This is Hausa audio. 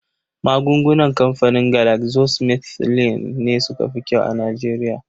Magungunan kamfanin Galaxosmithline ne suka fi kyau a Nijeriya